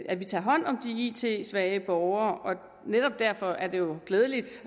at vi tager hånd om de it svage borgere netop derfor er det jo glædeligt